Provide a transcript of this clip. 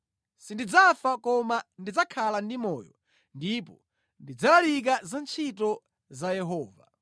Sindidzafa koma ndidzakhala ndi moyo ndipo ndidzalalika za ntchito ya Yehova.